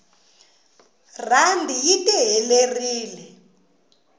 randi yi tiherelire